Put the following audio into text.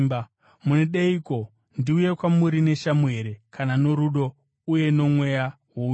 Munodeiko? Ndiuye kwamuri neshamhu here, kana norudo uye nomweya wounyoro?